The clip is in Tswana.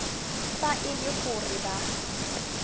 fa e le gore ba